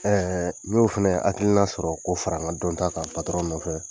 n y'o fɛnɛ hakilina sɔrɔ k'o fara n ka dɔn ta kan nɔfɛ.